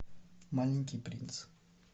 маленький принц